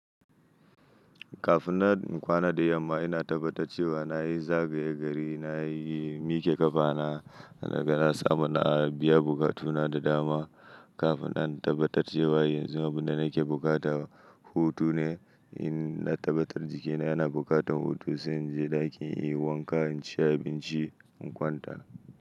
Kafin na in kwana da yamma ina tabbatar cewa na yi zagaye gari, na yi miƙe ƙafa na, daga na samu na biya buƙatuna da dama. Kafin na tabbatar cewa yanzun, abin da nake buƙata hutu ne, in na tabbatar jikina yana buƙatar hutu, sai in je ɗaki in yi wanka, in ci abinci, in kwanta.